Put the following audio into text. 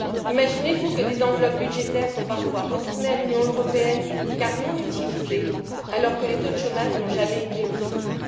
Imaginez vous que des enveloppes budgétaires sont parfois retournées à l'Union européenne car non utilisées alors que les taux de chômage n'ont jamais été aussi hauts.